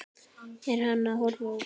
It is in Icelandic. Er hann að horfa út?